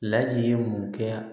Ladi ye mun kɛ